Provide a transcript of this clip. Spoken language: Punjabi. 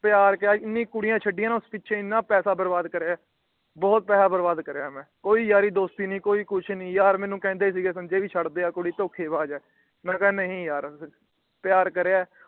ਪਿਆਰ ਕਿਆ ਏਨੀਆਂ ਕੁੜੀਆਂ ਛੱਡੀਆਂ ਨਾ ਉਸ ਪਿੱਛੇ ਏਨਾ ਪੈਸੇ ਬਰਬਾਦ ਕਰਿਆ ਬਹੁਤ ਪੈਹਾ ਬਰਬਾਦ ਕਰਿਆ ਮੈ । ਕੋਈ ਯਾਰੀ ਦੋਸਤੀ ਨਹੀਂ ਕੋਈ ਕੁਛ ਨਹੀਂ ਯਾਰ ਮੈਨੂੰ ਕਹਿੰਦੇ ਸੀ ਗੇ ਸੰਜੇ ਛੱਡ ਦੇ ਇਹ ਕੁੜੀ ਧੋਖੇਬਾਜ ਏ। ਮੈ ਕਿਹਾ ਨਹੀਂ ਯਾਰ ਪਿਆਰ ਕਰਿਆ ।